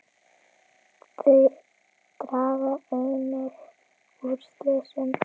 Þau draga einnig úr slysum.